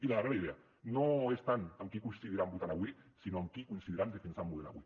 i la darrera idea no és tant amb qui coincidiran votant avui sinó amb qui coincidiran defensant model avui